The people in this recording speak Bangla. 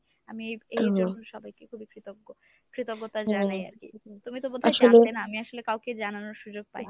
আমি এই সবাইকে খুবই কৃতজ্ঞ কৃতজ্ঞতা জানাই আরকি। তুমি তো বোধ হয় আমি আসলে কাউকে জানানোর সুযোগ পাইনি।